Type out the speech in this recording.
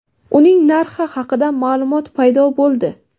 Uning narxi haqida ma’lumot paydo bo‘ldi.